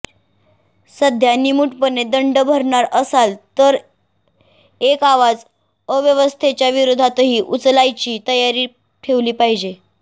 सध्या निमूटपणे दंड भरणार असाल तर एक आवाज अव्यवस्थेच्या विरोधातही उचलायची तयारी ठेवली पाहिजे